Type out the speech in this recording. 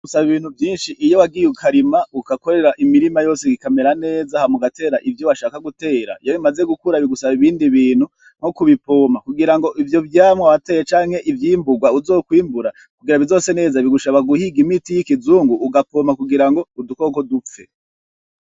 Bisaba ibintu vyinshi iyo wagiye ukarima, ugakorera imirima yose ikamera neza, hanyuma ugatera ivyo washaka gutera. Iyo bimaze gukura bigusaba ibindi bintu, nko kubipompa kugira ngo ivyo vyamwa wateye canke ivyo vyimburwa uzokwimbura, kugira bizose neza bigusaba guhiga imiti y'ikizungu ugapompa kugira ngo udukoko dupfe.